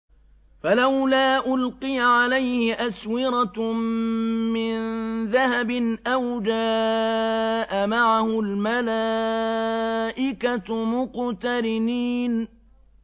فَلَوْلَا أُلْقِيَ عَلَيْهِ أَسْوِرَةٌ مِّن ذَهَبٍ أَوْ جَاءَ مَعَهُ الْمَلَائِكَةُ مُقْتَرِنِينَ